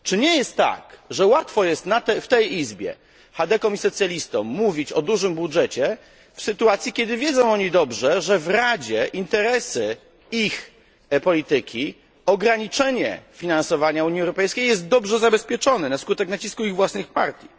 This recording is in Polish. Czy nie jest tak, że łatwo jest w tej Izbie chadekom i socjalistom mówić o dużym budżecie w sytuacji, kiedy wiedzą oni dobrze, że w Radzie interesy ich polityki i ograniczenie finansowania Unii Europejskiej są dobrze zabezpieczone na skutek nacisku ich własnych partii?